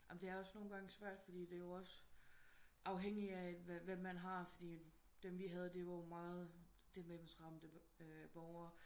Jamen det er også nogen gange svært fordi det er jo også afhængig af hvem man har fordi dem vi havde det var meget demens ramte borger